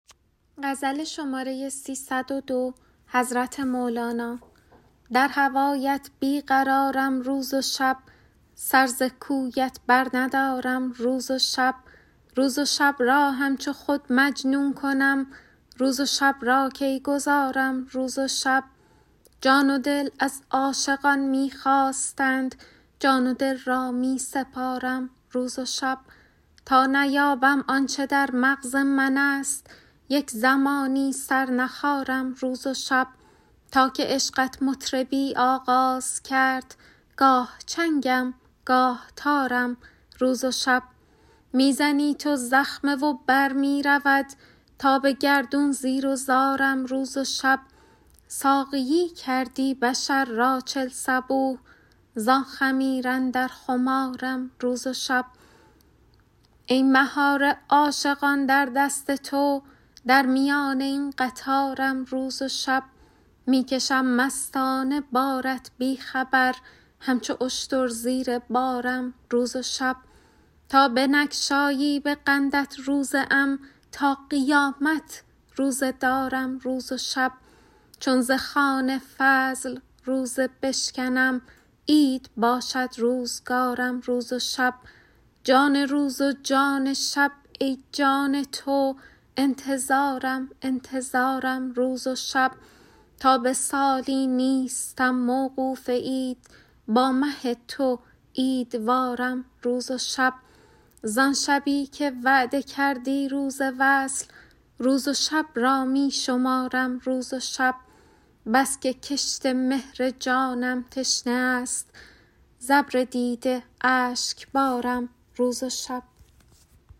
در هوایت بی قرارم روز و شب سر ز پایت برندارم روز و شب روز و شب را همچو خود مجنون کنم روز و شب را کی گذارم روز و شب جان و دل از عاشقان می خواستند جان و دل را می سپارم روز و شب تا نیابم آن چه در مغز منست یک زمانی سر نخارم روز و شب تا که عشقت مطربی آغاز کرد گاه چنگم گاه تارم روز و شب می زنی تو زخمه و بر می رود تا به گردون زیر و زارم روز و شب ساقیی کردی بشر را چل صبوح زان خمیر اندر خمارم روز و شب ای مهار عاشقان در دست تو در میان این قطارم روز و شب می کشم مستانه بارت بی خبر همچو اشتر زیر بارم روز و شب تا بنگشایی به قندت روزه ام تا قیامت روزه دارم روز و شب چون ز خوان فضل روزه بشکنم عید باشد روزگارم روز و شب جان روز و جان شب ای جان تو انتظارم انتظارم روز و شب تا به سالی نیستم موقوف عید با مه تو عیدوارم روز و شب زان شبی که وعده کردی روز وصل روز و شب را می شمارم روز و شب بس که کشت مهر جانم تشنه است ز ابر دیده اشکبارم روز و شب